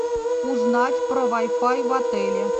узнать про вай фай в отеле